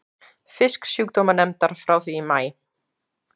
Fisksjúkdómanefndar frá því í maí.